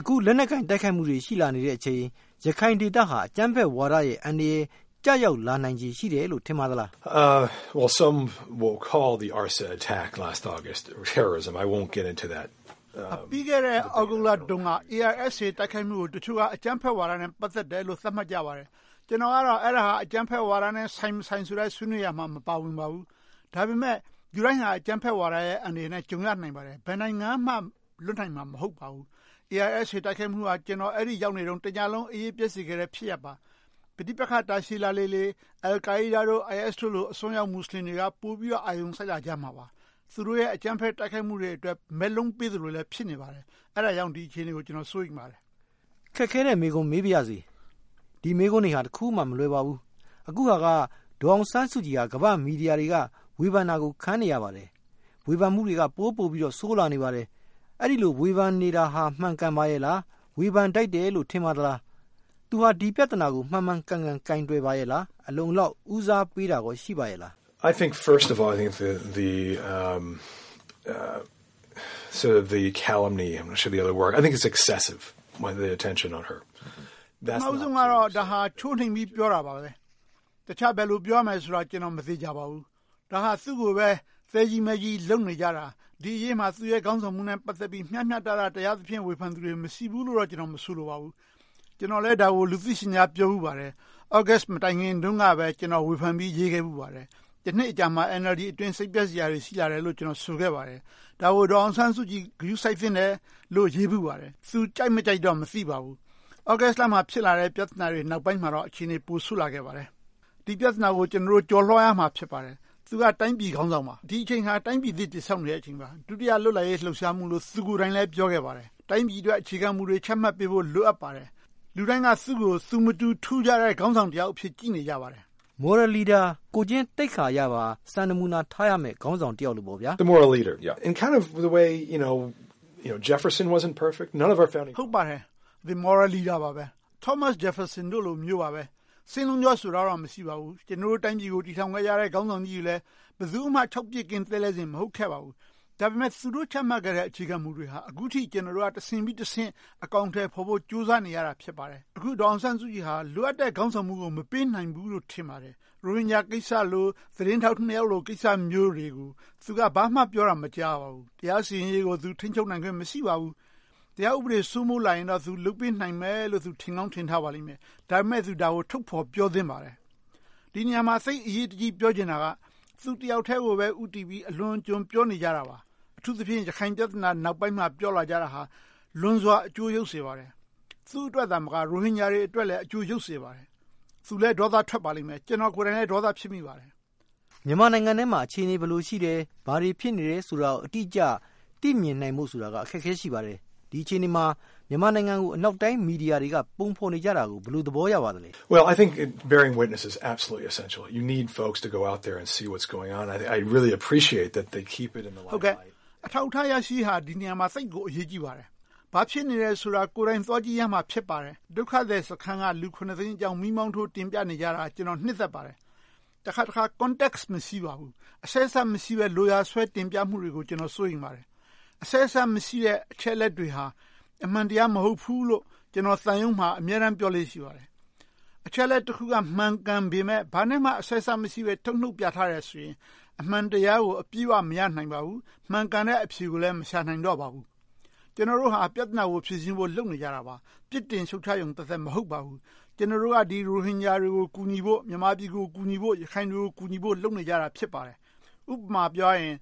အခုလက်နက်ကိုင် တိုက်ခိုက်မှုတွေ ရှိလာနေတဲ့အချိန် ရခိုင်ဒေသဟာ အကြမ်းဖက်ဝါဒရဲ့ အန္တရာယ် ကျရောက်လာနိုင်ခြေ ရှိလာနိုင်တယ်လို့ ထင်ပါသလား။ ပြီးခဲ့တဲ့ သြဂုတ်လတုန်းက ARSA တိုက်ခိုက်မှုကို တချို့က အကြမ်းဖက်ဝါဒနဲ့ ပတ်သက်တယ်လို့ သတ်မှတ်ကြပါတယ်။ ကျနော်က အဲဒါဟာ အကြမ်းဖက်ဝါဒနဲ့ ဆိုင်မဆိုင် ဆွေးနွေးရာမှာ မပါဝင်ပါဘူး။ ဒါပေမဲ့ လူတိုင်းဟာ အကြမ်းဖက်ဝါဒရဲ့ အန္တရာယ်နဲ့ ကြုံရနိုင်ပါတယ်။ ဘယ်နိုင်ငံမှ လွတ်နိုင်မှာ မဟုတ်ပါဘူး။ ARSA တိုက်ခိုက်မှုဟာ ကျနော် အဲဒီကို ရောက်နေတုန်း တညလုံး အိပ်ရေးပျက်စေခဲ့တဲ့ ဖြစ်ရပ်ပါ။ ပဋိပက္ခ တာရှည်လာလေလေ Al Qaeda, ISIS တို့လို အစွန်းရောက် မူစလင်တွေက ပိုပြီးတော့ အာရုံစိုက်လာကြမှာပါ။ သူတို့ရဲ့ အကြမ်းဖက်တိုက်ခိုက်မှုတွေအတွက် မက်လုံးပေးနေသလိုလည်း ဖြစ်နေပါတယ်။ အဲဒါကြောင့် ဒီအခြေအနေကို ကျနော် စိုးရိမ်ပါတယ်။ ခက်ခဲတဲ့ မေးခွန်း မေးပါရစေ။ ဒီမေးခွန်းတွေက တခုမှ မလွယ်ပါဘူး။ အခုဟာက ဒေါ်အောင်ဆန်းစုကြည်က ကမ္ဘာ့မီဒီယာတွေရဲ့ ဝေဖန်တာကို ခံနေရပါတယ်။ ဝေဖန်မှုတွေက ပိုပိုပြီး ဆိုးလာနေပါတယ်။ အဲဒီလို ဝေဖန်နေတာ မှန်ကန်ပါရဲ့လား။ ဝေဖန်ထိုက်တယ်လို့ ထင်ပါသလား။ သူဟာ ဒီပြဿနာကို မှန်မှန်ကန်ကန် ကိုင်တွယ်ပါရဲ့လား။ အလုံအလောက် ဦးစားပေးတာကော ရှိပါရဲ့လား။ ပထမဦးဆုံးကတော့ ချိုးနှိမ်ပြီး ပြောတာပါပဲ။ တခြားဘယ်လို ပြောရမယ်ဆိုတာ ကျနော် မသေချာပါဘူး။ ဒါဟာ သူကိုပဲ သဲကြီးမဲကြီး လုပ်နေကြတာ။ ဒီအရေးမှာ သူ့ရဲ့ ခေါင်းဆောင်မှုနဲ့ ပတ်သက်ပြီး မျှမျှတတ တရားသဖြင့် ဝေဖန်သူတွေ မရှိဘူးလို့တော့ ကျနော် မဆိုလိုပါဘူး။ ကျနော်လည်း ဒါကို လူသိရှင်ကြား ပြောဖူးပါတယ်။ သြဂုတ်လ မတိုင်ခင်တုန်းကပဲ ကျနော် ဝေဖန်ပြီး ရေးခဲ့ဖူးပါတယ်။ တနှစ်အကြာမှာ NLD အတွင်း စိတ်ပျက်စရာတွေ ရှိခဲ့တယ်လို့ ကျနော် ပြောဆိုခဲ့ပါတယ်။ ဒါကို ဒေါ်အောင်ဆန်းစုကြည် ဂရုစိုက်သင့်တယ်လို့ ရေးဖူးပါတယ်။ သူကြိုက်မကြိုက်တော့ မသိပါဘူး။ သြဂုတ်လတွေနောက်ပိုင်း ဖြစ်လာတဲ့ ပြဿနာတွေနောက်ပိုင်းမှာတော့ အခြေအနေတွေ ပိုဆိုးလာပါတယ်။ ဒီပြဿနာကို ကျနော်တို့ ကျော်လွှာရမှာ ဖြစ်ပါတယ်။ သူက တိုင်းပြည်ခေါင်းဆောင်ပါ။ ဒီအခြေအနေဟာ တိုင်းပြည်သစ် တည်ဆောက်နေတဲ့အချိန်ပါ။ ဒုတိယ လွတ်လပ်ရေး လှုပ်ရှားမှုလို့ သူကိုယ်တိုင်လည်း ပြောခဲ့ပါတယ်။ တိုင်းပြည်အတွက် အခြေခံမူတွေ ချမှတ်ပေးဖို့ လိုအပ်ပါတယ်။ လူတိုင်းက သူကို သူမတူ ထူးခြားတဲ့ ခေါင်းဆောင်အဖြစ် ကြည့်နေကြပါတယ်။ Moral leader ကိုယ်ကျင့်သိက္ခာအရပါ စံနမူနာ ထားရမယ့် ခေါင်းဆောင်တယောက်လိုပေါ့။ ဟုတ်ပါတယ်။ Moral leader ပါပဲ။ Thomas Jefferson တို့လိုမျိုးပါ။ စင်လုံးချောတော့ မဟုတ်ပါဘူး။ ကျနော်တို့ တိုင်းပြည်ကို တည်ထောင်ခဲ့ကြတဲ့ ခေါင်းဆောင်ကြီးတွေလည်း ဘယ်သူမှ ခြောက်ပစ်ကင်း သဲလဲစင် မဟုတ်ပါဘူး။ ဒါပေမဲ့ သူတို့ ချမှတ်ခဲ့တဲ့ အခြေခံမူတွေဟာ အခုထိ ကျနော်တို့က တဆင့်ပြီးတဆင့် အကောင်အထည်ဖော်ဖို့ ကြိုးစားနေရတာ ဖြစ်ပါတယ်။ အခု ဒေါ်အောင်ဆန်းစုကြည်ဟာ လိုအပ်တဲ့ ခေါင်းဆောင်မှုကို မပေးနိုင်ဘူးလို့ ထင်ပါတယ်။ ရိုဟင်ဂျာကိစ္စလို၊ သတင်းထောက်နှစ်ယောက်လို ကိစ္စမျိုးတွေကို သူက ဘာမှပြောတာ မကြားရပါဘူး။ တရားစီရင်ရေးကို သူ ထိန်းချုပ်နိုင်ခွင့် မရှိပါဘူး။ တရားဥပဒေ စိုးမိုးလာရင်တော့ သူ လုပ်ပေးနိုင်မယ်လို့ သူ ထင်ကောင်းထင်ထားပါလိမ့်မယ်။ ဒါပေမဲ့ သူ ဒါကို ထုတ်ဖော်ပြောသင့်ပါတယ်။ ဒီနေရာမှာ သိပ်အရေးတကြီး ပြောချင်တာက သူတယောက်တည်းကို ဦးတည်ပြီး အလွန်အကျွံပြောနေကြတာပါ။ အထူးသဖြင့် ရခိုင်ပြဿနာ နောက်ပိုင်းမှာ ပြောလာကြတာဟာ လွန်စွာ အကျိုးယုတ်စေပါတယ်။ သူ့အတွက်သာမက ရိုဟင်ဂျာတွေအတွက်လည်း အကျိုးယုတ်စေပါတယ်။ သူလည်း ဒေါသထွက်ပါလိမ့်မယ်။ ကျနော်ကိုယ်တိုင်လည်း ဒေါသ ဖြစ်မိပါတယ်။ မြန်မာနိုင်ငံထဲမှာ အခြေအနေ ဘယ်လိုရှိတယ်။ ဘာတွေ ဖြစ်နေတယ်ဆိုတာကို အတိအကျ သိမြင်နိုင်ဖို့ဆိုတာက အခက်အခဲ ရှိပါတယ်။ ဒီအခြေအနေမှာ မြန်မာနိုင်ငံကို အနောက်တိုင်း မီဒီယာတွေက ပုံဖော်နေကြတာကို ဘယ်လို သဘောရပါသလဲ။ အထောက်အထား ရရှိရေးဟာ ဒီနေရာမှာ သိပ်ကို အရေးကြီးပါတယ်။ ဘာဖြစ်နေတယ်ဆိုတာကို ကိုယ်တိုင်သွားကြည့်ရမှာ ဖြစ်ပါတယ်။ ဒုက္ခသည်စခန်းက လူ သိန်းအကြောင်း မီးမှောင်ထိုး တင်ပြနေကြတာ ကျနော် နှစ်သက်ပါတယ်။ တခါတခါ Context မရှိပါဘူး။ အဆက်အစပ်မရှိဘဲ လိုရာဆွဲတင်ပြမှုတွေကို ကျနော် စိုးရိမ်မိပါတယ်။ အဆက်အစပ်မရှိတဲ့ အချက်အလက်တွေဟာ အမှန်တရား မဟုတ်ဘူးလို့ ကျနော် သံရုံးမှာ အမြဲပြောလေ့ရှိပါတယ်။ အချက်အလက်တခုက မှန်ကန်ပေမယ့် ဘာနဲ့မှ အဆက်အစပ်မရှိဘဲ ထုတ်နုတ်ပြထားတယ်ဆိုရင် အမှန်တရားကို အပြည့်အဝ မရနိုင်ဘူး။ မှန်ကန်တဲ့ အဖြေကိုလည်း မရှာနိုင်တော့ပါဘူး။ ကျနော်တို့က ပြဿနာကို ဖြေရှင်းဖို့ လုပ်နေကြတာပါ။ ပြစ်တင်ရှုတ်ချရုံသက်သက် မဟုတ်ပါဘူး။ ကျနော်တို့က ဒီရိုဟင်ဂျာတွေကို ကူညီဖို့၊ မြန်မာပြည်ကို ကူညီဖို့၊ ရခိုင်ပြည်နယ်ကို ကူညီဖို့ လုပ်နေကြတာ ဖြစ်ပါတယ်။ ဥပမာ ပြောရရင်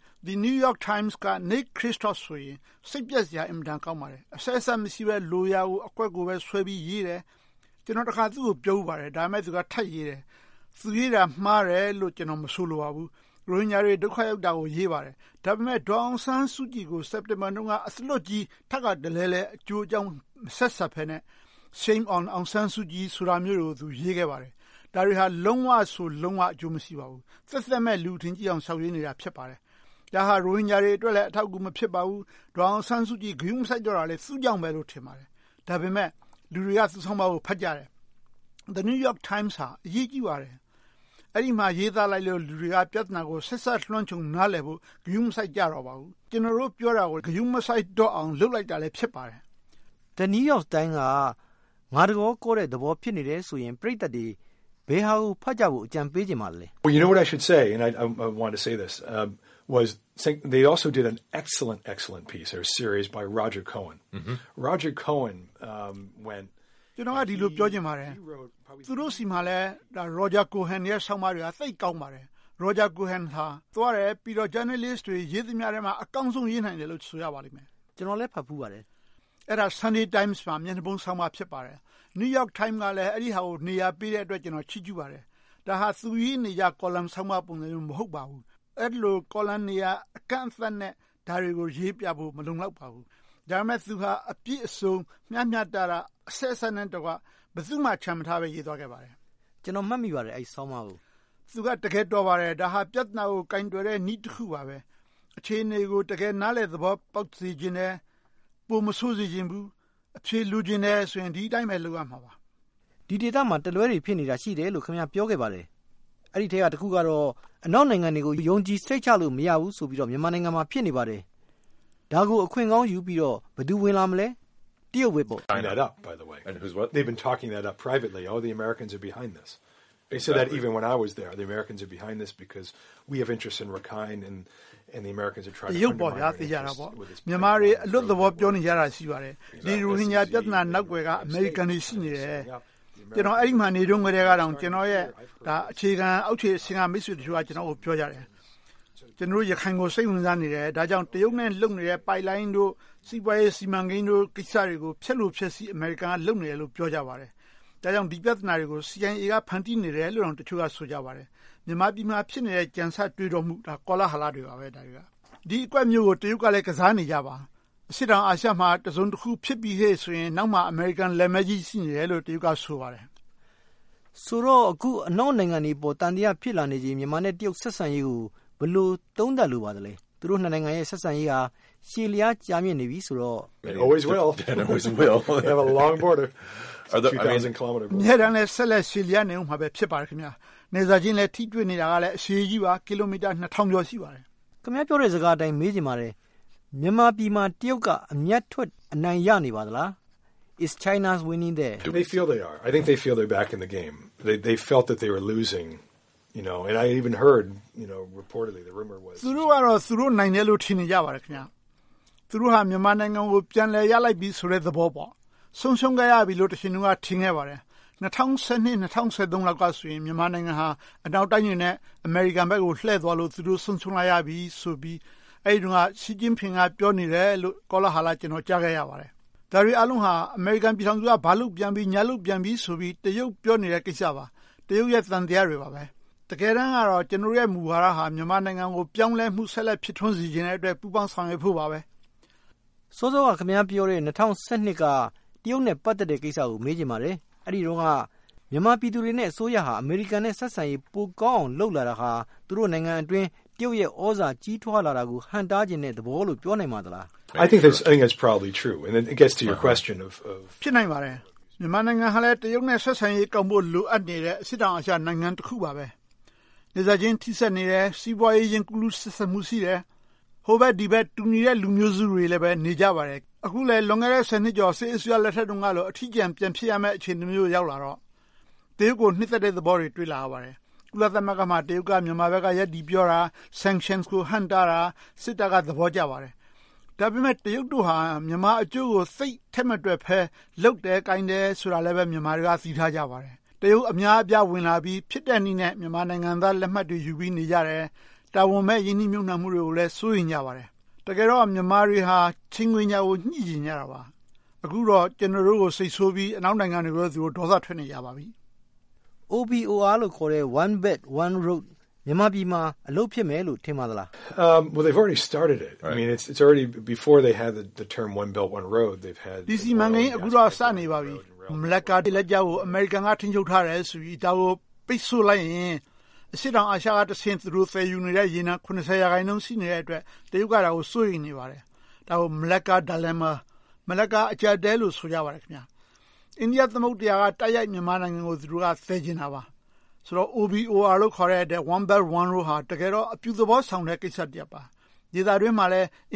New York Times က NickKristof ဆိုရင် သိပ်စိတ်ပျက်စရာ အင်မတန်ကောင်းပါတယ်။ အဆက်အစပ် မရှိဘဲ လိုရာကိုဆွဲပြီးရေးတယ်။ ကျနော် တခါ သူကိုပြောဖူးပါတယ် - ဒါပေမဲ့ သူက ထပ်ရေးတယ်။ သူရေးတာ မှားတယ်လို့ ကျနော် မဆိုလိုပါဘူး။ ရိုဟင်ဂျာတွေ ဒုက္ခရောက်တာကို ရေးပါတယ်။ ဒါပေမဲ့ ဒေါ်အောင်ဆန်းစုကြည်ကို စက်တင်ဘာတုန်းက အသားလွတ်ကြီး ထပ်ခါတလဲလဲ အကျိုးအကြောင်း မဆက်စပ်ဘဲနဲ့ Shame on Aung San Suu Kyi ဆိုတာမျိုးတွေကို သူ ရေးခဲ့ပါတယ်။ ဒါတွေဟာ လုံးဝဆို လုံးဝ အကျိုးမရှိပါဘူး။ သက်သက်မဲ့ လူအထင်ကြီးအောင် လျှောက်ရေးနေတာ ဖြစ်ပါတယ်။ ဒါဟာ ရိုဟင်ဂျာတွေအတွက်လည်း အထောက်အကူ မဖြစ်ပါဘူး။ ဒေါ်အောင်ဆန်းစုကြည် ဂရုမစိုက်တော့တာလည်း သူ့ကြောင့်ပဲလို့ ထင်ပါတယ်။ ဒါပေမဲ့ လူတွေက သူ့ဆောင်းပါးကို ဖတ်ကြတယ်။ New York Times ဟာ အရေးကြီးပါတယ်။ အဲဒီမှာ ရေးသားလိုက်လို့ လူတွေက ပြဿနာကို ဆက်စက်လွှမ်းခြုံ နားလည်ဖို့ ဂရုမစိုက်ကြတော့ပါဘူး။ ကျနော်တို့ပြောတာကို ဂရုမစိုက်ကြတော့အောင် လုပ်လိုက်တာလည်း ဖြစ်ပါတယ်။ New York Times က ငါတကောကော ဖြစ်နေရင် ပရိသတ်တွေ ဘယ်ဟာကို ဖတ်ကြဖို့ အကြံပေးချင်ပါလဲ။ ကျနော်က ဒီလိုပြောချင်ပါတယ်။ သူတို့ဆီမှာလည်း Roger Cohen ရဲ့ ဆောင်းပါးတွေက သိပ်ကောင်းပါတယ်။ Roger Cohen ဟာ သွားတယ်။ ပြီးတော့ ကျန်တဲ့ ဂျာနယ်လစ်တွေထဲမှာ အကောင်းဆုံး ရေးနိုင်တယ်လို့ ဆိုရပါလိမ့်မယ်။ ကျနော်လည်း ဖတ်ဖူးပါတယ်။ အဲဒါ Sunday Times မှာ မျက်နှာဖုံးဆောင်းပါး ဖြစ်ပါတယ်။ New York Times ကလည်း အဲဒါကို နေရာပေးတဲ့အတွက် ကျနော် ချီးကျူးပါတယ်။ ဒါဟာ သူရေးနေကြ Column ဆောင်းပါးမျိုး မဟုတ်ပါဘူး။ အဲဒီလို Column နေရာ အကန့်အသတ်နဲ့ ဒါတွေကို ရေးပြဖို့ မလုံလောက်ပါဘူး။ ဒါပေမဲ့ သူဟာ အပြည့်အစုံ မျှမျှတတ အဆက်အစပ်နဲ့တကွ ဘယ်သူမှ ချန်မထားဘဲ ရေးသွားခဲ့ပါတယ်။ ကျနော် မှတ်မိပါတယ်။ အဲဒီဆောင်းပါးကို။ သူက တကယ်တော်ပါတယ်။ ပြဿနာကို ကိုင်တွယ်တဲ့ နည်းတခုပါပဲ။ အခြေအနေကို တကယ်နားလည်သဘောပေါက်စေချင်တယ်။ ပိုမဆိုးစေချင်ဘူး။ အဖြေလိုချင်တယ်ဆိုရင် ဒီအတိုင်းပဲ လုပ်ရမှာပါ။ ဒီဒေသမှာ တလွဲတွေ ရှိနေတယ်လို့ ခင်များ ပြောခဲ့ပါတယ်။ အဲဒီထဲက တခုကတော့ အနောက်နိုင်ငံတွေကို ယုံကြည်စိတ်ချလို့ မရဘူးဆိုပြီးတော့ မြန်မာနိုင်ငံမှာ ဖြစ်နေပါတယ်။ ဒါကို အခွင့်ကောင်းယူပြီးတော့ ဘယ်သူ ဝင်လာမလဲ။ တရုတ်ပဲပေါ့။ တရုတ်ပေါ့ သေချာတာပေါ့။ မြန်မာတွေ အလွတ်သဘော ပြောနေကြတာ ရှိပါတယ်။ ဒီရိုဟင်ဂျာ ပြဿနာနောက်ကွယ်က အမေရိကန်တွေ ရှိနေတယ်။ ကျနော် အဲဒီမှာ နေတုန်းကတည်းက ကျနော်ရဲ့ အခြေခံအောက်ခြေအဆင့် မိတ်ဆွေအချို့က ပြောကြတယ်။ ကျနော်တို့ ရခိုင်ကို စိတ်ဝင်စားနေတယ်။ ဒါကြောင့် တရုတ်နဲ့ လုပ်နေတဲ့ ပိုက်လိုင်းတို့ စီးပွားရေးစီမံကိန်းတို့ ကိစ္စတွေကို ဖျက်လိုဖျက်ဆီး အမေရိကန်က လုပ်နေတယ်လို့ ပြောကြပါတယ်။ ဒါကြောင့် ဒီပြဿနာတွေကို CIA က ဖန်တီးနေတယ်လို့ တချို့ ဆိုကြပါတယ်။ မြန်မာပြည်မှာ ဖြစ်နေတဲ့ ကြံဆတွေးတောမှုတွေက ကောလာဟလတွေပါ။ ဒီအကွက်မျိုးကို တရုတ်ကလည်း ကစားနေကြပါ။ အရှေ့တောင်အာရှမှာ တစုံတခုဖြစ်ပြီဟေ့ဆိုရင် နောက်မှာ အမေရိကန် လက်မည်းကြီး ရှိနေတယ်လို့ တရုတ်က ဆိုပါတယ်။ ဆိုတော့ အခု အနောက်နိုင်ငံတွေအပေါ် သံသယ ဖြစ်လာနေချိန် မြန်မာနဲ့ တရုတ် ဆက်ဆံရေးကို ဘယ်လိုသုံးသပ်လိုပါသလဲ။ သူတို့ နှစ်နိုင်ငံရဲ့ ဆက်ဆံရေးဟာ ရှည်လျားကြာမြင့်နေပြီဆိုတော့ အမြဲတမ်းလည်း ဆက်လည်ရှည်လျားနေအုံးမှာ ဖြစ်ပါတယ်။ နယ်စပ်ချင်းလည်း ထိတွေ့နေတာလည်း အရှည်ကြီးပါ - ကီလိုမီတာ နှစ်ထောင်ကျော် ရှိပါတယ်။ ခင်များပြောတဲ့ စကားအတိုင်း မေးချင်ပါတယ်။ မြန်မာပြည်မှာ တရုတ်က အမြတ်ထွက် အနိုင်ရနေပါလား။ Is China winning there? သူတို့ကတော့ သူတို့ နိုင်တယ်လို့ ထင်နေပါတယ်။ သူတို့က မြန်မာနိုင်ငံကို ပြန်လည်ရလိုက်ပြီဆိုတဲ့ သဘောပေါ့။ ဆုံးရှုံးခဲ့ရပြီလို့ တခါက ထင်ခဲ့ပါတယ်။ ၂၀၁၂-၂၀၁၃ တုန်းကဆိုရင် မြန်မာနိုင်ငံဟာ အနောက်တိုင်းတွေနဲ့ အမေရိကန်ဘက်ကို လှည့်သွားလို့ သူတို့ ဆုံးရှုံးလိုက်ရပြီဆိုပြီး အဲဒီတုန်းက Xi Jinping က ပြောနေတယ်လို့ ကောလာဟလ ကျနော် ကြားခဲ့ဖူးပါတယ်။ ဒါတွေအားလုံးဟာ အမေရိကန်ပြည်ထောင်စု က ဘာလုပ်ပြန်ပြီ၊ ညာလုပ်ပြန်ပြီဆိုပြီး တရုတ်ပြောနေတဲ့ ကိစ္စပါ။ တရုတ်ရဲ့ သံသယတွေပါ။ တကယ်တမ်းတော့ ကျနော်တို့ မူဝါဒက မြန်မာနိုင်ငံကို ပြောင်းလဲမှု ဆက်လက်ဖြစ်ထွန်းစေချင်တဲ့အတွက် ပူးပေါင်းဆောင်ရွက်ဖို့ပါ။ စောစောက ခင်များပြောတဲ့ ၂၀၁၂ က တရုတ်နဲ့ ပတ်သက်တဲ့ကိစ္စကို မေးချင်ပါတယ်။ အဲဒီတုန်းက မြန်မာပြည်သူတွေနဲ့ အစိုးရဟာ အမေရိကန်နဲ့ ဆက်ဆံရေး ပိုကောင်းအောင် လုပ်လာတာဟာ သူတို့နိုင်ငံအတွင်း တရုတ်ရဲ့ သြဇာကြီးထွားလာတာကို ဟန့်တားချင်တဲ့သဘောလို့ ပြောနိုင်ပါသလား။ ဖြစ်နိုင်ပါတယ်။ မြန်မာနိုင်ငံဟာ တရုတ်နဲ့ ဆက်ဆံရေးကောင်းဖို့ လိုအပ်နေတဲ့ အရှေ့တောင်အာရှနိုင်ငံ တခုပါ။ နယ်စပ်ချင်း ထိဆက်နေတယ်။ စီးပွားရေး ကူးလူးဆက်စပ်မှုရှိတယ်။ ဟိုဘက်ဒီဘက် တူညီတဲ့လူမျိုးစုတွေလည်း နေကြပါတယ်။ အခုလဲ လွန်ခဲ့တဲ့ ဆယ်နှစ်ကျော် စစ်အစိုးရလက်ထက်တုန်းကလို အထီးကျန် ပြန်ဖြစ်ရမယ့် အခြေအနေမျိုးကို ရောက်လာတော့ တရုတ်ကို နစ်သက်တဲ့သဘောတွေ တွေ့လာရပါတယ်။ ကုလသမဂ္ဂမှာ တရုတ်က မြန်မာဘက်က ရပ်တည်ပြောတာ။ Sanction ကို ဟန့်တားတာ။ စစ်တပ်က သဘောကျပါတယ်။ ဒါပေမဲ့ တရုတ်တို့ဟာ မြန်မာအကျိုးကို သိပ်ထည့်မတွက်ဘဲ လုပ်တယ်ကိုင်တယ်ဆိုတာလည်း မြန်မာတွေက သိထားကြပါတယ်။ တရုတ်အများအပြား ဝင်လာပြီး ဖြစ်တဲ့နည်းနဲ့ မြန်မာနိုင်ငံသား လက်မှတ်တွေယူပြီးနေကြတယ်။ တာဝန်မဲ့ ရင်းနှီးမြုပ်နံှမှုတွေကိုလည်း စိုးရိမ်ကြပါတယ်။ တကယ်တော့ မြန်မာတွေဟာ ချိန်ခွင်လျှာကို ညှိပြီးတော့ နေကြရတာပါ။ အခုတော့ ကျနော်တို့ကို စိတ်ဆိုးပြီး အနောက်နိုင်ငံတွေကိုပဲ ဒေါသထွက်နေကြပါပြီ။ OBOR လို့ခေါ်တဲ့ One Belt One Road မြန်မာပြည်မှာ အလုပ်ဖြစ်မယ်လို့ ထင်ပါသလား။ ဒီ စီမံကိန်း အခုတော့ စနေပါပြီ။ မလက္ကား ရေလက်ကြားကို အမေရိကန်က ထိန်းချုပ်ထားတယ်ဆိုပြီး ဒါကို ပိတ်စို့လိုက်ရင် အရှေ့တောင်အာရှတဆင့် သူတို့ သယ်ယူနေတဲ့ ရေနံ ရာခိုင်နှုန်း ရှိနေတဲ့အတွက် တရုတ်က ဒါကို စိုးရိမ်နေပါတယ်။ ဒါကို Malacca Dilemma - မလက္ကား အကျပ်အတည်းလို့ ဆိုကြပါတယ်။ အိန္ဒိယသမုဒ္ဒရာက တိုက်ရိုက် မြန်မာနိုင်ငံကို သယ်ချင်တာပါ။ ဆိုတော့ OBOR လို့ခေါ်တဲ့ One Belt One Road ဟာ တကယ်တော့ အပြုသဘောဆောင်တဲ့ ကိစ္စတရပ်ပါ။ ဒေသအတွင်းမှာ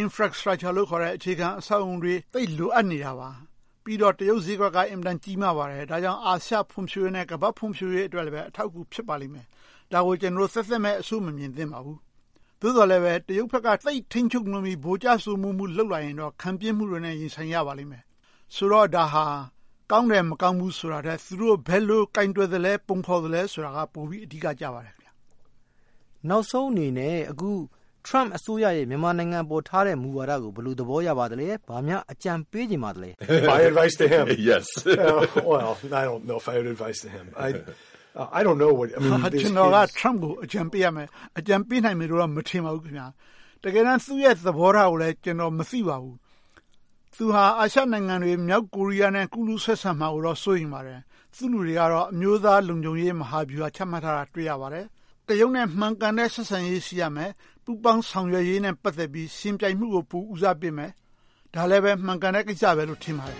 Infrastructure လို့ခေါ်တဲ့ အခြေခံအဆောက်အအုံတွေ သိပ်လိုအပ်နေတာပါ။ ပြီးတော့ တရုတ်ဈေးကွက်က အင်မတန် ကြီးမားပါတယ်။ ဒါကြောင့် အာရှဖွံ့ဖြိုးရေးနဲ့ ကမ္ဘာ့ဖွံ့ဖြိုးရေးအတွက်လည်း အထောက်အကူ ဖြစ်ပါလိမ့်မယ်။ ဒါကို ကျနော်တို့ သက်သက်မဲ့ အဆိုးမမြင်သင့်ပါဘူး။ သို့သော်လဲ တရုတ်ဘက်က သိပ်ထိန်းချုပ်ပြီး ဗိုလ်ကျစိုးမိုးမှု လုပ်လာရင်တော့ ခံပြင်းမှုတွေနဲ့ ရင်ဆိုင်ရပါလိမ့်မယ်။ ဆိုတော့ ဒါဟာ ကောင်းတယ်မကောင်းဘူးဆိုတာထက် သူတို့ ဘယ်လိုကိုင်တွယ်သလဲ၊ ပုံဖော်သလဲဆိုတာက ပိုပြီးအဓိကကျပါတယ်။ နောက်ဆုံးအနေနဲ့ အခု Trump အစိုးရရဲ့ မြန်မာနိုင်ငံအပေါ်ထားတဲ့ မူဝါဒကို ဘယ်လို သဘောရပါသလဲ။ ဘာများ အကြံပေးချင်ပါလဲ။ ကျနော်က Trump ကို အကြံပေးရမယ်။ အကြံပေးနိုင်မယ်လို့တော့ မထင်ပါဘူး။ တကယ်တမ်း သူ့ရဲ့သဘောထားကို ကျနော် မသိပါဘူး။ သူဟာ အာရှနိုင်ငံတွေ၊ မြောက်ကိုရီးယားနဲ့ ကူးလူးဆက်ဆံမှာကိုတော့ စိုးရိမ်ပါတယ်။ သူ့လူတွေကတော့ အမျိုးသားလုံခြုံရေး မဟာဗျူဟာကို ချမှတ်ထားတာ တွေ့ရပါတယ်။ တရုတ်နဲ့ မှန်ကန်တဲ့ ဆက်ဆံရေး ရှိရမယ်။ ပူးပေါင်းဆောင်ရွက်ရေးနဲ့ ပတ်သက်ပြီး ယှဉ်ပြိုင်မှုကို ပိုပြီးတော့ ဦးစားပေးမယ်။ ဒါလဲပဲ မှန်ကန်တဲ့ကိစ္စလို့ ထင်ပါတယ